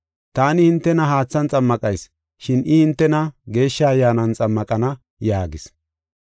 Taani hintena haathan xammaqayis, shin I hintena Geeshsha Ayyaanan xammaqana” yaagis.